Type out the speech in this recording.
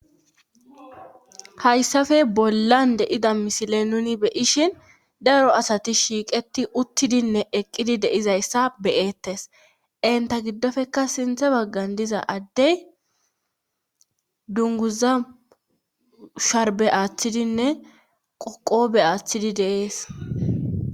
Hayssafe bollan de,ida misile nuni beyishhin daro asati shiiqeti uttidinne eqqidi deizayssa beyettes inta giddofeka sinthe baggan diza addey dunguza sharbe aaththidinne qoqobe aaththidi deees.